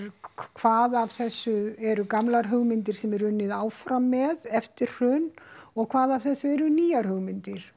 hvað af þessu eru gamlar hugmyndir sem er unnið áfram með eftir hrun og hvað af þessu eru nýjar hugmyndir